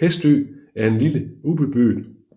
Hestø er en lille